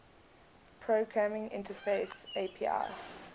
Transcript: programming interface api